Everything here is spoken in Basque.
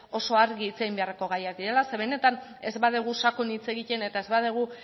oso argi hitz egin beharreko gaiak direla zeren benetan ez badugu sakon hitz egiten eta ez badugu